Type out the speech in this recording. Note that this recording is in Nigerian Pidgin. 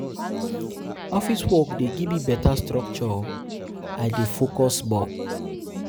Office work dey give me beta structure, I dey I dey focus more.